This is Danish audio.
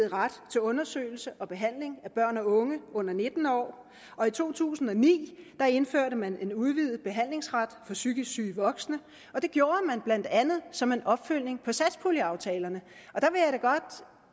ret til undersøgelse og behandling af børn og unge under nitten år og i to tusind og ni indførte man en udvidet behandlingsret for psykisk syge voksne det gjorde man blandt andet som en opfølgning på satspuljeaftalerne